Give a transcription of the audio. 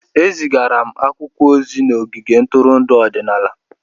Ezigara akwụkwọ ozi n'ogige ntụrụndụ ọdịnala.